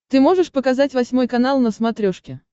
ты можешь показать восьмой канал на смотрешке